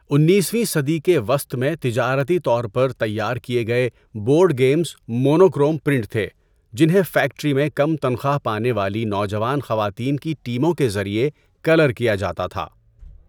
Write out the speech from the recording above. ۱۹ ویں صدی کے وسط میں تجارتی طور پر تیار کیے گئے بورڈ گیمز مونوکروم پرنٹ تھے جنہیں فیکٹری میں کم تنخواہ پانے والی نوجوان خواتین کی ٹیموں کے ذریعے کلر کیا جاتا تھا۔